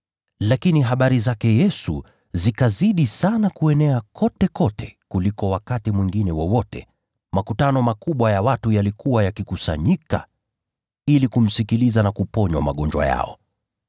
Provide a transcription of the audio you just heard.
Lakini habari zake Yesu zikazidi sana kuenea kotekote kuliko wakati mwingine wowote. Makutano makubwa ya watu yalikuwa yakikusanyika ili kumsikiliza na kuponywa magonjwa yao.